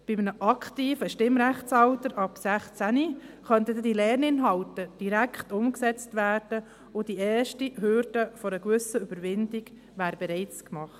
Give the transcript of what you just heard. Bei einem aktiven Stimmrechtsalter ab 16 könnten diese Lerninhalte direkt umgesetzt werden und die erste Hürde einer gewissen Überwindung wäre bereits gemacht.